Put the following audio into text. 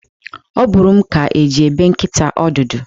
Ọ bụrụ m ka e ji ebe nkịta ọdụdụ.